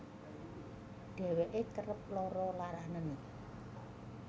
Dheweke kerep lara laranen